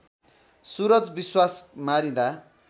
Suraj Biswas मारिँदा